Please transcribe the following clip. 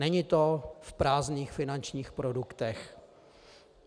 Není to v prázdných finančních produktech.